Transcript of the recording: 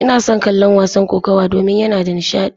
Ina son kallon wasan kokawa domin yana da nishadi.